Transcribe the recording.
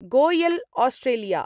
Goyal Australia